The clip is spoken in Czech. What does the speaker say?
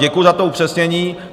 Děkuji za to upřesnění.